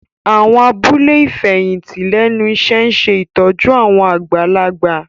Àwọn abúlé ìfẹ̀yìntì lẹ́nu iṣẹ́ ń ṣe ìtọ́jú àwọn àgbàlagbà